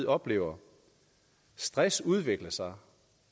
oplever stress udvikle sig